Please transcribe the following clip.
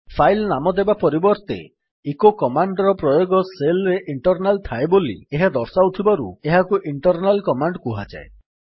file ନାମ ଦେବା ପରିବର୍ତ୍ତେ ଇକୋ କମାଣ୍ଡ୍ ର ପ୍ରୟୋଗ ଶେଲ୍ ରେ ଇଣ୍ଟର୍ନାଲ୍ ଥାଏ ବୋଲି ଏହା ଦର୍ଶାଉଥିବାରୁ ଏହାକୁ ଇଣ୍ଟର୍ନାଲ୍ କମାଣ୍ଡ୍ କୁହାଯାଏ